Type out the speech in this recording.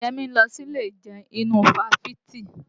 Yẹmí ń lọ sílé ìjẹun inú ifáfitì